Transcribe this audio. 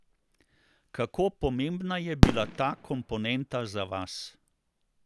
Kako pomembna je bila ta komponenta za vas?